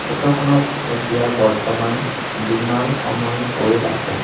ফটোখনত এতিয়া বৰ্তমান দিনৰ সময় হৈ আছে।